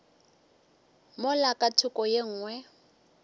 mola ka thoko ye nngwe